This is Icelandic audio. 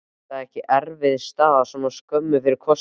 Er það ekki erfið staða svona skömmu fyrir kosningar?